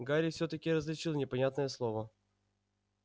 гарри всё-таки различил непонятное слово